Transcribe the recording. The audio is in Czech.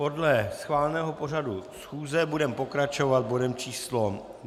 Podle schváleného pořadu schůze budeme pokračovat bodem číslo